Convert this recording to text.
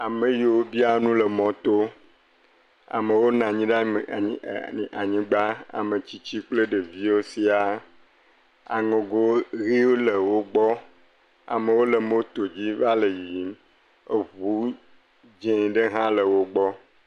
Ame yiwo biaa nu le mɔto. Amewo nɔ anyi ɖe anyi, ɛɛ anyi ɛɛ anyigba. Ametsitsi kple ɖeviwo siaa. Aŋɛgo ʋiwo le wogbɔ. Amewo le mootodzi va le yiyim. Eŋu dzẽ ɖe hã le wogbɔ.